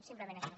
simplement això